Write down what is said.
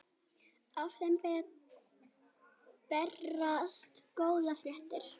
Af þeim berast góðar fréttir.